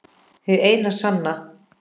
Hin eina sanna